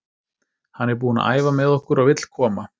Hann er búinn að æfa með okkur og vill koma.